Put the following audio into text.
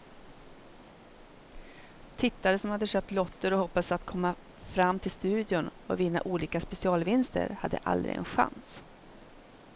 Tittare som hade köpt lotter och hoppats att komma fram till studion och vinna olika specialvinster hade aldrig en chans.